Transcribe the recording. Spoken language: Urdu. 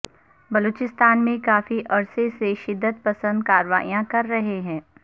بلوچستان میں کافی عرصے سے شدت پسند کارروائیاں کر رہے ہیں